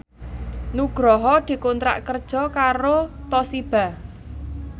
Nugroho dikontrak kerja karo Toshiba